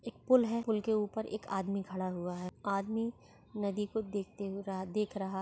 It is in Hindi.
एक पूल है पूल के ऊपर एक आदमी खड़ा हुआ है। आदमी नदी को देखते हुए देख राह रहा--